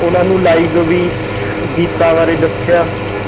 ਉਹਨਾਂ ਨੂੰ live ਵੀ ਗੀਤਾਂ ਬਾਰੇ ਦੱਸਿਆ